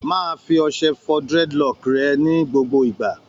Máa fi ọṣẹ fọ dreadlock rẹ ni gbogbo ìgbà!